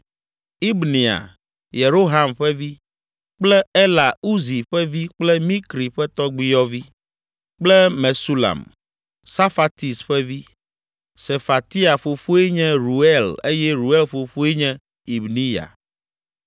Ibnea, Yeroham ƒe vi; kple Ela Uzi ƒe vi kple Mikri ƒe tɔgbuiyɔvi; kple Mesulam, Safatis ƒe vi; Sefatia fofoe nye Reuel eye Reuel fofoe nye Ibniya.